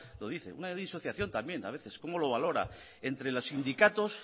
lo dice una disociación también a veces entre los sindicatos